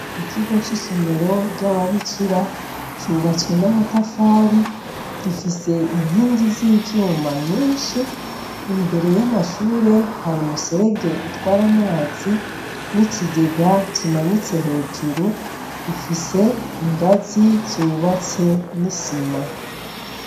Ikigo c'isomero ry'ababikira cubatswe n'amatafari gifise inkingi z'ivyuma nyinshi imbere y'amashure hari umuserege utwara amazi n'ikigega kimanitse hejuru ifise ingazi zubatse n'isima.